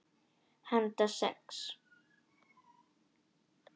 Handa sex